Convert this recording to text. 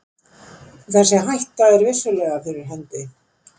Þessi hætta er vissulega fyrir hendi.